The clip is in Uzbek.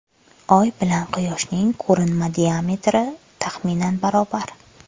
Oy bilan Quyoshning ko‘rinma diametri taxminan barobar.